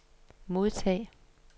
modtag